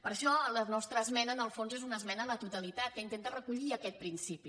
per això la nostra esmena en el fons és una esmena a la totalitat que intenta recollir aquest principi